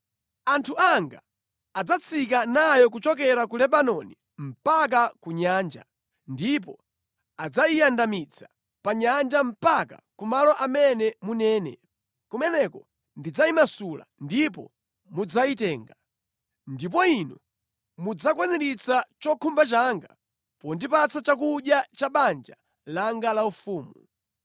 Anthu anga adzatsika nayo kuchokera ku Lebanoni mpaka ku nyanja, ndipo adzayiyandamitsa pa nyanja mpaka ku malo amene munene. Kumeneko ndidzayimasula ndipo mudzayitenga. Ndipo inu mudzakwaniritsa chokhumba changa pondipatsa chakudya cha banja langa laufumu.”